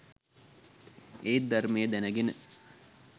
එත් ධර්මය දැනගෙන